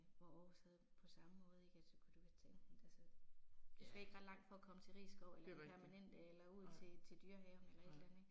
Hvor Aarhus havde på samme måde ik at så kunne du tage enten altså. Du skal ikke ret langt for at komme til Risskov eller Den Permanente eller ud til til Dyrehaven eller et eller andet ik